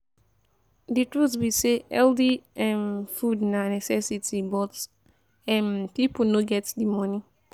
Di truth be say healthy um food na necessity but um pipo no get di moni.